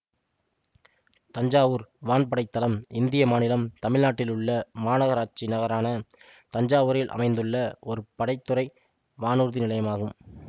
தஞ்சாவூர் வான்படைத் தளம் இந்திய மாநிலம் தமிழ்நாட்டிலுள்ள மாநகராட்சி நகரான தஞ்சாவூரில் அமைந்துள்ள ஓர் படை துறை வானூர்தி நிலையமாகும்